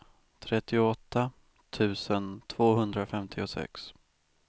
trettioåtta tusen tvåhundrafemtiosex